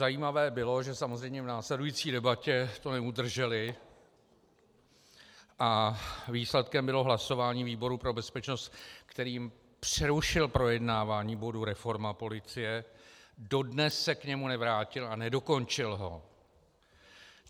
Zajímavé bylo, že samozřejmě v následující debatě to neudrželi a výsledkem bylo hlasování výboru pro bezpečnost, který přerušil projednávání bodu reforma policie, dodnes se k němu nevrátil a nedokončil ho.